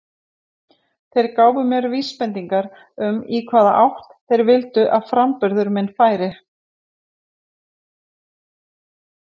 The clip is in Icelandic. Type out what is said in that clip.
Þeir gáfu mér vísbendingar um í hvaða átt þeir vildu að framburður minn færi.